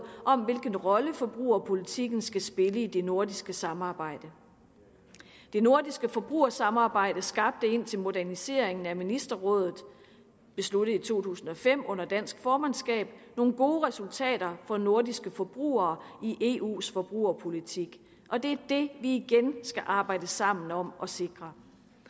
om hvilken rolle forbrugerpolitikken skal spille i det nordiske samarbejde det nordiske forbrugersamarbejde skabte indtil moderniseringen af ministerrådet besluttet i to tusind og fem under dansk formandskab nogle gode resultater for nordiske forbrugere i eus forbrugerpolitik og det er det vi igen skal arbejde sammen om at sikre